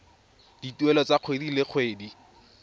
dituelo tsa kgwedi le kgwedi